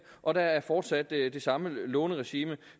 og der er fortsat det det samme låneregime